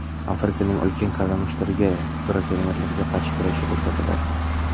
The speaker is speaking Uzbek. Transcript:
Afrikaning ulkan kalamushlariga brakonyerlarga qarshi kurashish o‘rgatiladi.